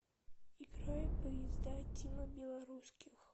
играй поезда тимы белорусских